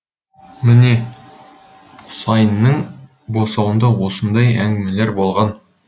міне құсайынның босауында осындай әңгімелер болған